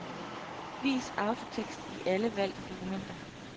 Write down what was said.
Vis autotekst i alle valgte dokumenter.